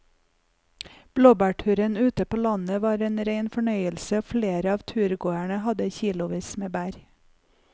Blåbærturen ute på landet var en rein fornøyelse og flere av turgåerene hadde kilosvis med bær.